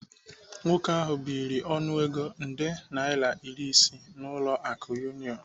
Nwoke ahu biri ọnụego nde naira iri isii n'ụlọ akụ Union.